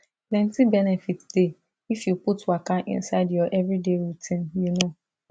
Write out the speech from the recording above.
plenty benefit dey if you put waka inside your everyday routine you know